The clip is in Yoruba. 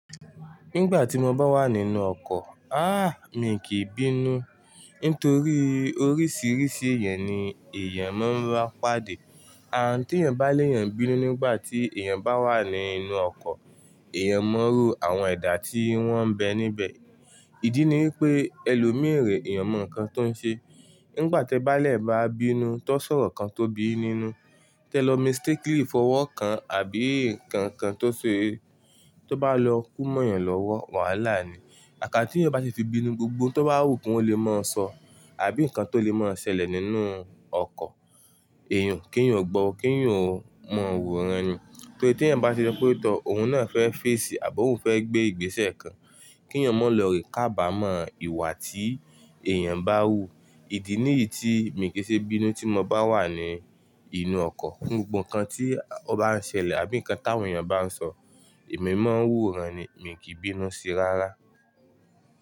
Nígbà tí mo bá wà nínú ọkọ̀, aah! Mi kìí bínú nítorí oríṣiríṣi ẹ̀yàn ni èèyàn máa ń ba pàdé. Àǹ tí èèyàn bá l'èyàn n bínú nígbà tí èèyàn bá wà nínú ọkọ̀, èèyàn o mọ irú àwọn ẹ̀dà tí wọ́n ń bẹ níbẹ̀. Ìdí ni wípé ẹlòmíràn èèyàn mọ ǹkan tó ń ṣe. Nígbà tẹ bá lè bá bínú t'on sọ̀rọ̀ kan tó bí yín nínú, tẹ lọ mistakenly fọwọ́ kan àbí ǹkan kan tó ṣe, tó bá lọ kú mọ́ èèyàn lọ́wọ́, wàhálà ni. Àkáń tí èèyàn bá ṣe ti bínú, gbogbo ohun tó bá wù kí wọ́n lè máa sọ, àbí ǹkan tó lè máa ṣẹlẹ̀ nínú ọkọ̀, èèyàn k'éèyàn ò gbọ́, k'éèyàn ò má wò'ran ni. Torí tí èèyàn bá ṣe wípé tọọ̀, òun náà fẹ́ face àbo òun fẹ́ gbé ìgbésẹ̀ kan, kí ẹ̀yàn má lọ rèé kábàmọ́ ìwà tí èèyàn bá wù. Ìdí nìyí tí mi kì í ṣe bínú tí mo bá wà ní inú ọkọ̀. Gbogbo ǹkan tí ọ bá ń ṣẹlẹ̀ àbí ǹkan táwọn èèyàn bá ń sọ, èmi máa ń wòóran ni, mi kì í bínú síi rárá.